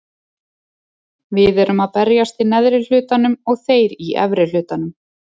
Við erum að berjast í neðri hlutanum og þeir í efri hlutanum.